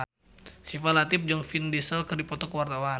Syifa Latief jeung Vin Diesel keur dipoto ku wartawan